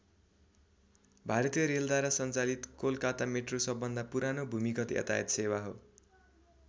भारतीय रेलद्वारा सञ्चालित कोलकाता मेट्रो सबभन्दा पुरानो भूमिगत यातायात सेवा हो।